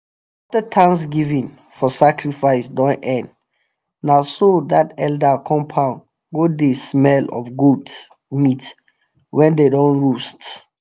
afta thanksgiving for sacrifice don end na so that elder compound go dey smell of goat meat wey them don roast.